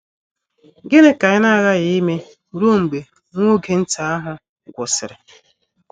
Gịnị ka anyị na - aghaghi ime ruo mgbe “ nwa oge nta ” ahụ gwụsịrị?